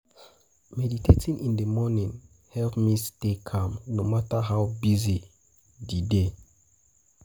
Meditating in the morning help me stay calm, no matter how busy di day.